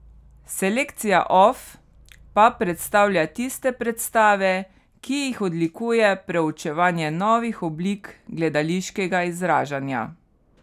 Selekcija off pa predstavlja tiste predstave, ki jih odlikuje preučevanje novih oblik gledališkega izražanja.